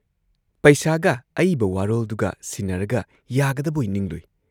ꯄꯩꯁꯥꯒ ꯑꯏꯕ ꯋꯥꯔꯣꯜꯗꯨꯒ ꯁꯤꯟꯅꯔꯒ ꯌꯥꯒꯗꯕꯣꯏ ꯅꯤꯡꯂꯨꯏ ꯫